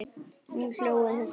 Hún hló að þessu.